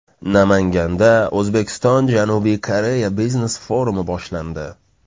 Namanganda O‘zbekistonJanubiy Koreya biznes forumi boshlandi.